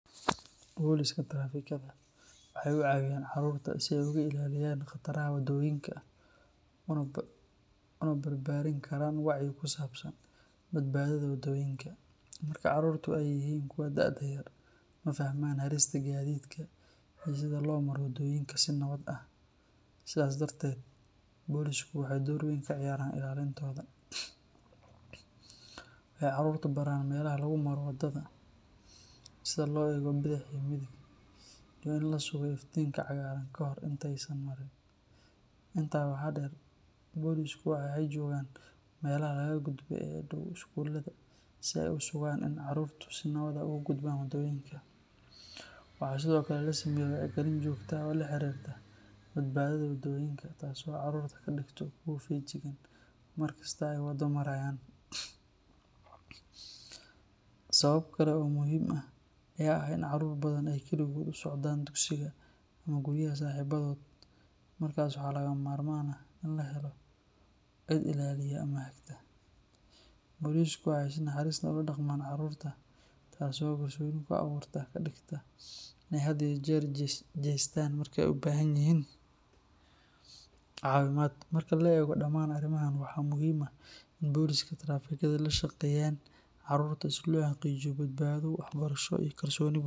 Boliska trafikada waxay u caawiyaan carruurta si ay uga ilaaliyaan khataraha waddooyinka una barbaarin karaan wacyi ku saabsan badbaadada waddooyinka. Marka carruurtu ay yihiin kuwo da’ yar, ma fahmaan halista gaadiidka iyo sida loo maro waddooyinka si nabad ah, sidaas darteed bolisku waxay door weyn ka ciyaaraan ilaalintooda. Waxay carruurta baraan meelaha lagu maro waddada, sida loo eego bidix iyo midig, iyo in la sugo iftiinka cagaaran ka hor inta aysan marin. Intaa waxaa dheer, boliska waxay joogaan meelaha laga gudbo ee u dhow iskuullada si ay u sugaan in carruurtu si nabad ah uga gudbaan waddooyinka. Waxaa sidoo kale la sameeyaa wacyigelin joogto ah oo la xiriirta badbaadada waddooyinka, taas oo carruurta ka dhigta kuwo feejigan mar kasta oo ay waddo marayaan. Sabab kale oo muhiim ah ayaa ah in carruur badan ay kaligood u socdaan dugsiga ama guryaha saaxiibadood, markaas waxaa lagama maarmaan ah in la helo cid ilaaliya ama hagta. Boliska waxay si naxariis leh ula dhaqmaan carruurta, taasoo kalsooni ku abuurta oo ka dhigta inay had iyo jeer u jeestaan markay u baahan yihiin caawimaad. Marka la eego dhammaan arrimahan, waa muhiim in boliska trafikada ay la shaqeeyaan carruurta si loo xaqiijiyo badbaado, waxbarasho iyo kalsooni bulsho.